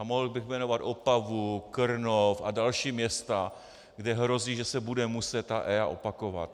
A mohl bych jmenovat Opavu, Krnov a další města, kde hrozí, že se bude muset EIA opakovat.